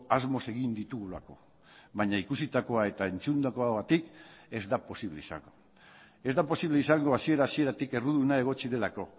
asmoz egin ditugulako baina ikusitakoa eta entzundakoagatik ez da posible izango ez da posible izango hasiera hasieratik erruduna egotzi delako